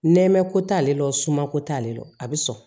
Nɛmɛ ko t'ale la o suma ko t'ale la a bi sɔn